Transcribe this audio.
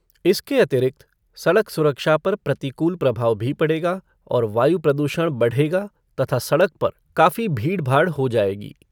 इसके अतिरिक्त, सड़क सुरक्षा पर प्रतिकूल प्रभाव भी पड़ेगा और वायु प्रदूषण बढेगा तथा सड़क पर काफी भीड़भाड़ हो जाएगी।